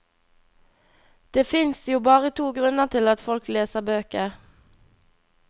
Det fins jo bare to grunner til at folk leser bøker.